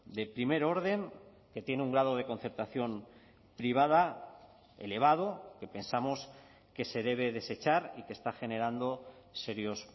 de primer orden que tiene un grado de concertación privada elevado que pensamos que se debe desechar y que está generando serios